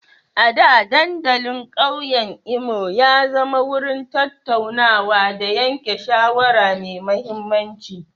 A da, dandalin ƙauyen Imo ya zama wurin tattaunawa da yanke shawara mai mahimmanci.